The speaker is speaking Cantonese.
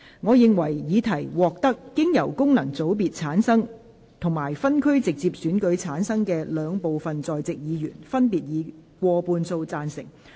我認為議題獲得經由功能團體選舉產生及分區直接選舉產生的兩部分在席議員，分別以過半數贊成。